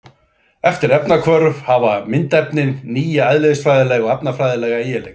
Eftir efnahvörf hafa myndefnin nýja eðlisfræðilega og efnafræðilega eiginleika.